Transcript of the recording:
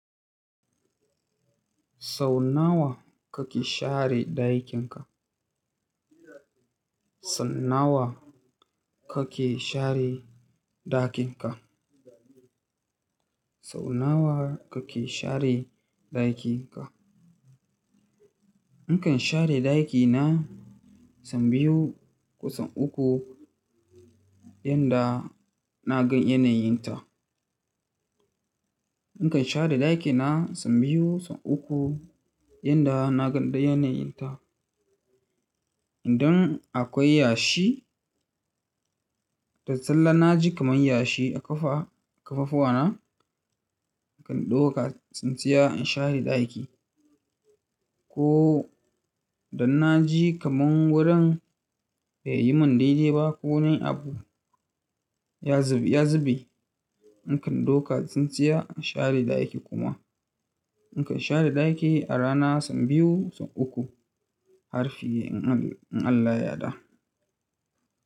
Sau nawa kake share ɗakinka? Sau nawa kake share ɗakinka? Sau nawa kake share ɗakinka? Nakan share ɗakina sau biyu ko sau uku yanda na gan yanayinta. Nakan share ɗakina sau biyu, sau uku yanda na gan yanayinta. Idan akwai yashi da sallah na ji kaman yashi a ƙafa-ƙafafuwa na, nakan ɗauka tsintsiya in share ɗaki. Ko da na ji kaman wurin baiyi mun daidai ba ko wani abu ya zube, nakan ɗauka tsintsiya in share ɗaki kuma. Nakan share ɗaki a rana sau biyu, sau uku har fi in Allah ya yarda.